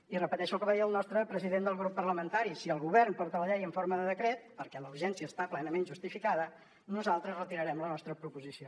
i repeteixo el que va dir el nostre president del grup parlamentari si el govern porta la llei en forma de decret perquè la urgència està plenament justificada nosaltres retirarem la nostra proposició